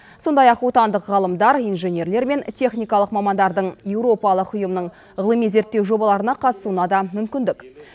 сондай ақ отандық ғалымдар инженерлер мен техникалық мамандардың еуропалық ұйымның ғылыми зерттеу жобаларына қатысуына да мүмкіндік